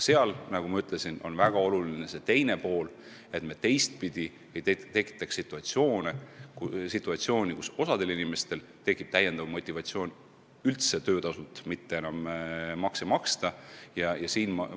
Selle küsimuse puhul on väga oluline see, et me teistpidi ei tekitaks situatsiooni, kus osal inimestel tekib täiendav motivatsioon töötasult enam makse mitte maksta.